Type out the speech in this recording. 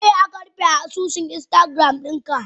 Meyasa akarufe asusun instagram dinka?